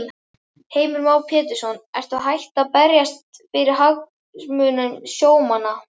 Heimir Már Pétursson: Ertu hætt að berjast fyrir hagsmunum sjómanna?